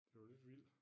Det jo lidt vildt